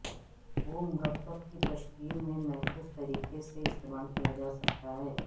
وہ مرکب کی تشکیل میں محفوظ طریقے سے استعمال کیا جا سکتا ہے